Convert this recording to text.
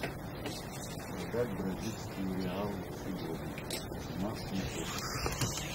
продать бразильские реалы сегодня цена в тинькофф